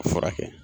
A furakɛ